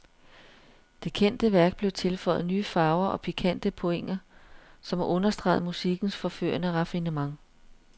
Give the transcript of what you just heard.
Det kendte værk blev tilføjet nye farver og pikante pointer, som understregede musikkens forførende raffinement.